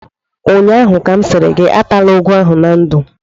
ụnyaahụ ka m sịrị gị atala ụgụ ahụ na ndụ!